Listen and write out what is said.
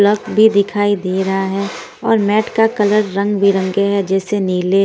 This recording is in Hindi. प्लग भी दिखाई दे रहा हैं और मैट का कलर रंग बिरंगे हैं जैसे नीले--